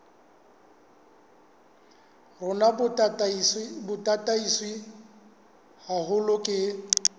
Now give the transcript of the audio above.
rona bo tataiswe haholo ke